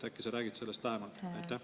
Äkki sa räägid sellest lähemalt?